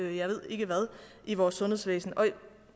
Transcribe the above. jeg ved ikke hvad i vores sundhedsvæsen